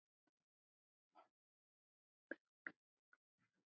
Hvers vegna gerðuð þið það?